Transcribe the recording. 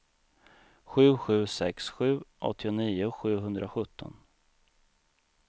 sju sju sex sju åttionio sjuhundrasjutton